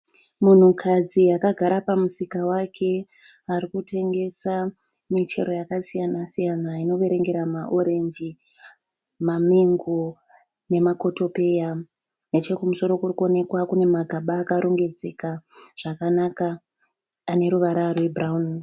Munhukadzi agara pamusika wake arikutengesa michero yakasiyana siyana inoverengera maoreji, mamengo nemakotopeya. Nechokumusoro kurikuoneka kune magaba akarongedzeka zvakanaka aneruvara rwebhurawuni.